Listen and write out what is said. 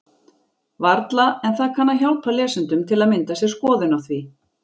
Varla, en það kann að hjálpa lesendum til að mynda sér skoðun á því.